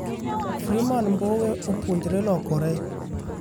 Freeman Mbowe opuonjre lokore,